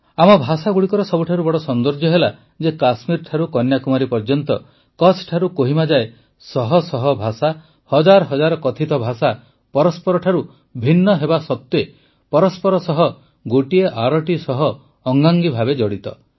ଆମ ଭାଷାଗୁଡ଼ିକର ସବୁଠାରୁ ବଡ଼ ସୌନ୍ଦର୍ଯ୍ୟ ହେଲା ଯେ କାଶ୍ମୀର ଠାରୁ କନ୍ୟାକୁମାରୀ ଯାଏ କଚ୍ଛ ଠାରୁ କୋହିମା ଯାଏ ଶହ ଶହ ଭାଷା ହଜାର ହଜାର କଥିତ ଭାଷା ପରସ୍ପରଠାରୁ ଭିନ୍ନ ହେବାସତ୍ୱେ ପରସ୍ପର ସହ ଗୋଟିଏ ଆରଟି ସହ ଅଙ୍ଗାଙ୍ଗୀ ଭାବେ ଜଡ଼ିତ